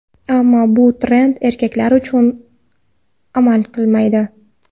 Ammo bu trend erkaklar uchun amal qilmaydi.